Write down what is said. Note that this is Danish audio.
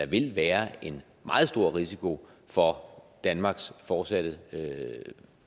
vil være en meget stor risiko for danmarks fortsatte